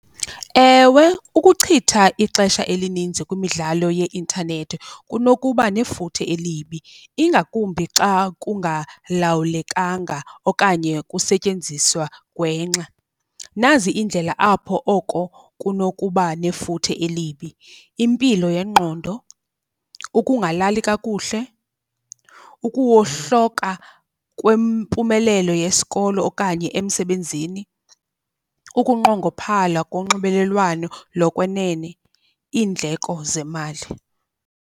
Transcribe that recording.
Ewe, ukuchitha ixesha elininzi kwimidlalo yeintanethi kunokuba nefuthe elibi, ingakumbi xa kungalawulekanga okanye kusetyenziswa gwengxa. Nazi iindlela apho oko kunokuba nefuthe elibi. Impilo yengqondo, ukungalali kakuhle, ukuwohloka kwempumelelo yesikolo okanye emsebenzini, ukunqongophala konxibelelwano lokwenene, iindleko zemali.